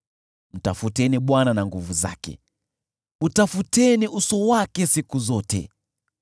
Mtafuteni Bwana na nguvu zake, utafuteni uso wake siku zote.